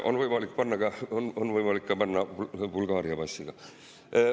On võimalik panna ka Bulgaaria passiga.